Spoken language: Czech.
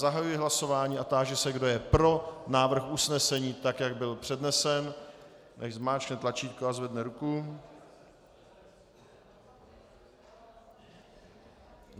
Zahajuji hlasování a táži se, kdo je pro návrh usnesení, tak jak byl přednesen, nechť zmáčkne tlačítko a zvedne ruku.